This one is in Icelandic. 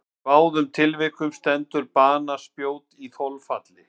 Í báðum tilvikum stendur banaspjót í þolfalli.